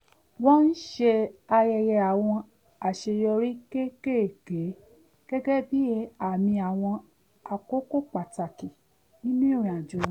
wọ́n ṣe àyẹyẹ àwọn àṣeyọrí kéékèèké gẹ́gẹ́ bí àmi àwọn àkókò pàtàkì nínú ìrìnàjò wọn